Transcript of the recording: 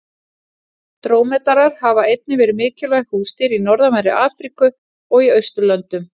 Drómedarar hafa einnig verið mikilvæg húsdýr í norðanverðri Afríku og í Austurlöndum.